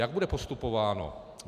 Jak bude postupováno?